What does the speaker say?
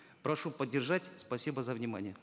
прошу поддержать спасибо за внимание